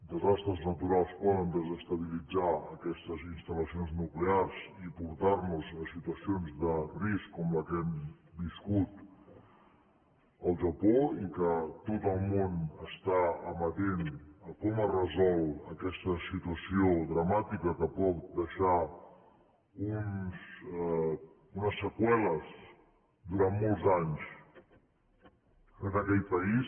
desastres naturals poden desestabilitzar aquestes instal·lacions nuclears i portar nos a situacions de risc com la que hem viscut al japó i que tot el món està amatent a com es resol aquesta situació dramàtica que pot deixar unes seqüeles durant molts anys en aquell país